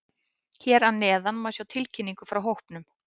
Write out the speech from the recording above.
Hér að neðan má sjá tilkynningu frá hópnum.